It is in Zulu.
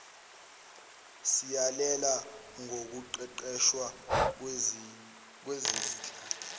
siyalela ngokuqeqeshwa kwezinhla